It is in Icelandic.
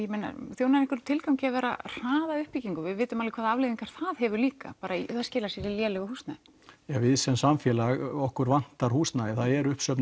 þjónar einhverjum tilgangi að vera að hraða uppbyggingu því við vitum alveg hvaða afleiðingar það hefur líka að það skilar sér í lélegu húsnæði við sem samfélag okkur vantar húsnæði og það er uppsöfnuð